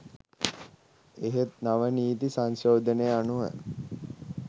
එහෙත් නව නීති සංශෝධනය අනුව